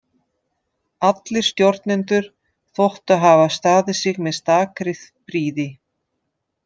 Allir stjórnendur þóttu hafa staðið sig með stakri prýði.